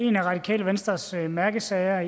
en af radikale venstres mærkesager